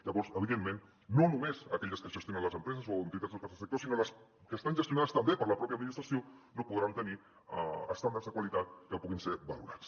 llavors evidentment no només aquelles que gestionen les empreses o entitats del tercer sector sinó les que estan gestionades també per la pròpia administració no podran tenir estàndards de qualitat que puguin ser valorats